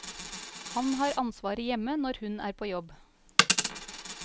Han har ansvaret hjemme når hun er på jobb.